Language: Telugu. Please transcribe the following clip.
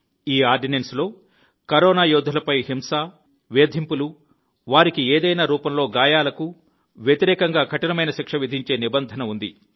ఈ ఆర్డినెన్స్లో కరోనా యోధులపై హింస వేధింపులు వారికి ఏదైనా రూపంలో గాయాలకు వ్యతిరేకంగా కఠినమైన శిక్ష విధించే నిబంధన ఉంది